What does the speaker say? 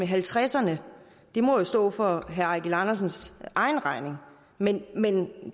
halvtredserne det må jo stå for herre eigil andersens egen regning men men